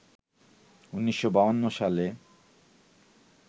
১৯৫২ সালে